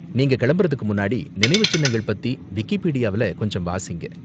நீங்க கிளம்புறதுக்கு முன்னாடி நினைவு சின்னங்கள் பத்தி விக்கிப்பீடியாவுல கொஞ்சம் வாசிங்க.